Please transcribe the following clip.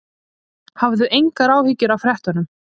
Hafðu engar áhyggjur af fréttunum.